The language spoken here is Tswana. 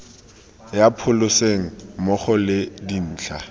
ya pholese mmogo le dintlha